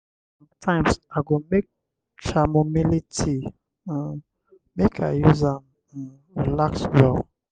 sometimes i go make chamomile tea um make i use am um relax well.